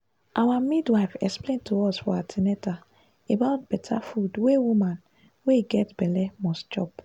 our midwife explain to us for an ten atal about better food wey woman wey get belle must chop